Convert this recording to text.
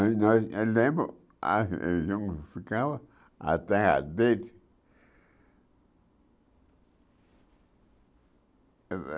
Eu lembro a região que ficava a.